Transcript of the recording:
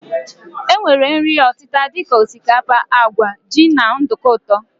E nwere nri ọtịta dika osikapa, àgwà, jị na nduku ụtọ.